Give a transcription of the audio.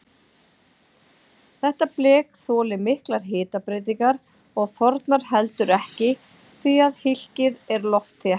Þetta blek þolir miklar hitabreytingar og þornar heldur ekki því að hylkið er loftþétt.